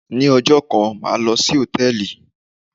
Ni ọjọ́ kan, màá lò sí Hòtẹ́lìì.